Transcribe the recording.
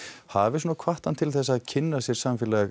hafi hvatt hann til að kynna sér samfélag